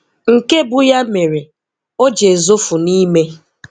Nke bụ ya mere o ji ezofu n'ime